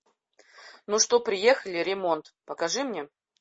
ну что приехали ремонт покажи мне